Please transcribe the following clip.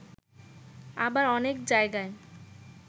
আবার অনেক জায়গায়